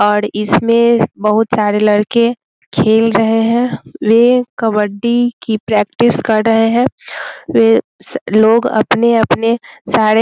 और इसमें बहुत सारे लड़के खेल रहे हैं वे कबड्डी की प्रैक्टिस कर रहे हैं वे लोग अपने-अपने सारे --